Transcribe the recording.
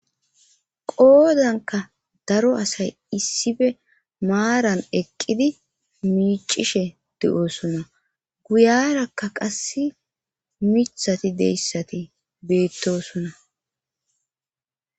qoodanka daro asay issife maaran eqqidi miicishe de7oosnna guyarakka qass micthati deyssati beettosona